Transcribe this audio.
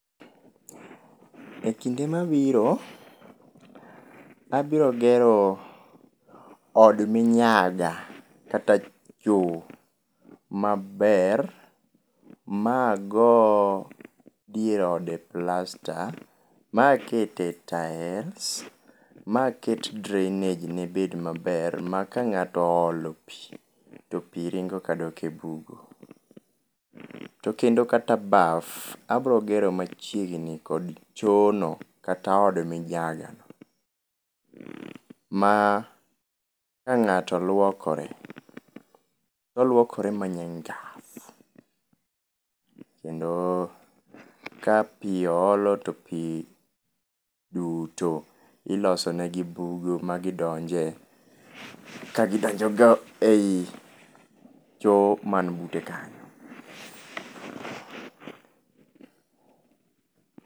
E kinde mabiro abiro gero od minyaga kata choo maber ma ago dier ode plasta makete tiles, maket drainage ne bed maber ma ka ngato oolo pii to pii ringo kadok e bugo. To kendo kata baf, abiro gero machiegni kod choo no kata od minyaga ,ma ka ngato luokroe toluokore ma nyangafu kendo ka pii oolo to pii duto iloso negi bugo magidonje ka gidonjo go ei choo man bute kanyo